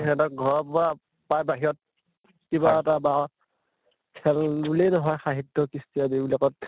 সিহঁতক ঘৰৰ পৰা প্ৰায় বাহিৰত কিবা এটা বা খেল বুলি নহয় সাহিত্য় কৃষ্তি আদি বিলাকত